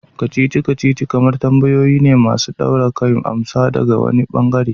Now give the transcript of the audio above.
Kacici-kacici kamar tambayoyi ne masu daure kai masu bukatar amsa daga wani ɓangare.